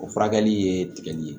O furakɛli ye tigɛli ye